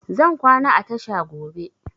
Zan kwana a tasha gobe